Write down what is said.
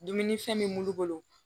Dumuni fɛn min bolo